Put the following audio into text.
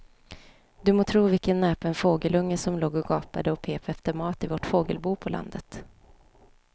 Du må tro vilken näpen fågelunge som låg och gapade och pep efter mat i vårt fågelbo på landet.